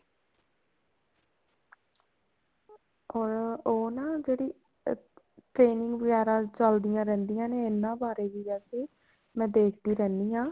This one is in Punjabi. ਉਹ ਉਹ ਨਾ ਜਿਹੜੀ training ਵਗੈਰਾ ਚੱਲਦੀਆਂ ਰਹਿੰਦੀਆਂ ਨੇ ਇਹਨਾ ਬਾਰੇ ਵੀ ਵੈਸੇ ਮੈਂ ਦੇਖਦੀ ਰਹਿੰਦੀ ਹਾਂ